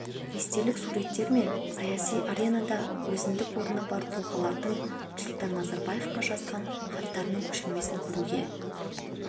естелік суреттер мен саяси аренада өзіндік орны бар тұлғалардың нұрсұлтан назарбаевқа жазған хаттарының көшірмесін көруге